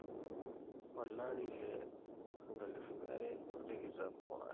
olari le 2022